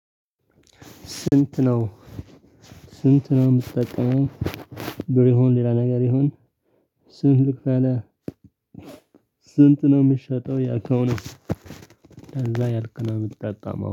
ስንት ነው ስንት ነው የምትጠቀመው? ብር ይሁን ሌላ ነገር ይሁን። ስንት ስንት ነው የሚሸጠው ያልካውን እንደዛ እያልኩ ነው የምጠቀመው